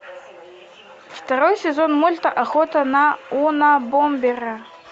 второй сезон мульта охота на унабомбера